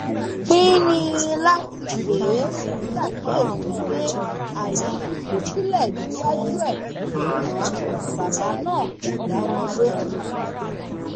pínín láti pè é ṣàkíyèsí pé ààyè ti ṣí sílẹ níwájú ẹ ṣùgbọn bàbá náà kò dá wọn lóhùn